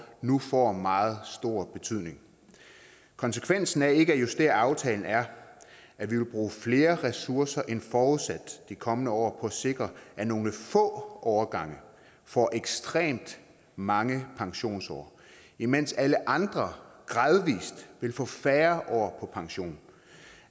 nu får meget stor betydning konsekvensen af ikke at justere aftalen er at vi vil bruge flere ressourcer end forudsat de kommende år på at sikre at nogle få årgange får ekstremt mange pensionsår imens alle andre gradvis vil få færre år på pension